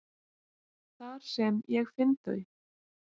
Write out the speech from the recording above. Þar sem ég finn þau.